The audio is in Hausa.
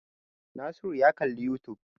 Nasiru ya kalli youtube.